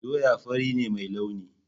Doya fari ne mai launi.